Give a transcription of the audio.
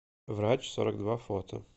врач сорок два фото